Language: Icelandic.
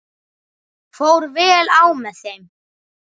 Fór vel á með þeim.